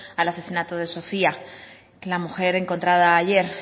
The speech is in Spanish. al asesinato de sofía la mujer encontrada ayer